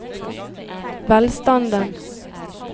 velstanden